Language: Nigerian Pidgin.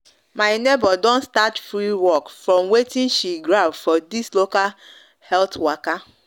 my neighbor don start free work from watin she grab for this local this local health waka